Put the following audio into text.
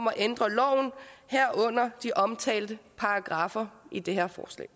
at ændre loven herunder de omtalte paragraffer i det her forslag